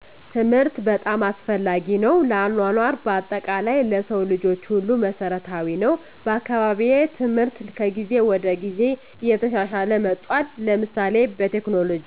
ትምህርት በጣም አስፈላጊ ነው ለአኗኗር በአጠቃላይ ለሰው ልጆች ሁሉ መሰረታዊ ነወ። በአካባቢየ ትምህርት ከጊዜ ወደ ጊዜ እየተሻሻለ መጥቷል ለምሳሌ በቴክኖሎጅ